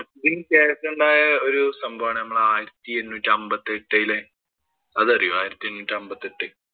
കേരളത്തിലുണ്ടായ ഒരു സംഭവം ആണ് നമ്മടെ ആയിരത്തി എണ്ണൂറ്റി അമ്പത്തി യെട്ടിലെ അതറിയോ ആയിരത്തി എണ്ണൂറ്റി അമ്പത്തി എട്ട്.